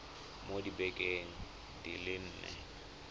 mo dibekeng di le nne